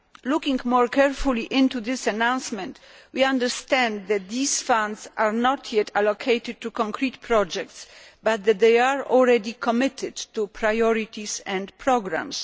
Looking more carefully into this announcement, we understand that these funds have not yet been allocated to concrete projects but that they are already committed to priorities and programmes.